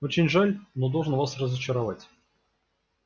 очень жаль но должен вас разочаровать